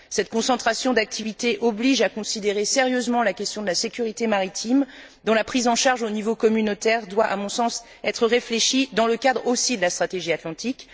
Cette concentration d'activités oblige à considérer sérieusement la question de la sécurité maritime, dont la prise en charge au niveau communautaire doit, à mon sens, être réfléchie dans le cadre aussi de la stratégie atlantique.